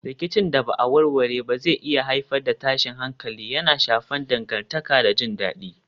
Rikicin da ba a warware ba zai iya haifar da tashin hankali, yana shafar dangantaka da jin dadi.